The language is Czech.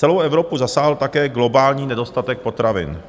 Celou Evropu zasáhl také globální nedostatek potravin,